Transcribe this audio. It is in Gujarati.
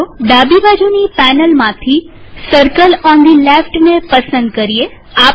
ચાલો ડાબીબાજુની પેનલમાંથી સર્કલ ઓન ધી લેફ્ટને પસંદ કરીએ